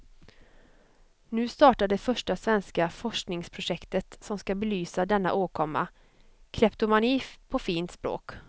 Nu startar det första svenska forskningsprojektet som ska belysa denna åkomma, kleptomani på fint språk.